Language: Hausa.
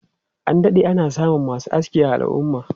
An dade ana samun masu aski a al'umma.